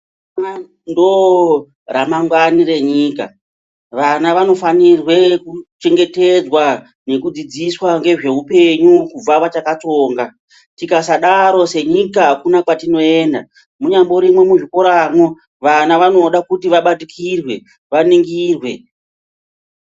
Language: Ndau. Vanhu ndoramangwani renyika vana vanofanire kuchengetedzwa nekudzidziswa ngezveupenyu kubva vachakatsonga tikasadaro senyika akuna kwatinoenda munyamborimo muzvikoramwo vana vanoda kuti vabatikirwe vaningirwe.